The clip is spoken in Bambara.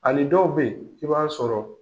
Ani dɔw be ye, i b'a sɔrɔ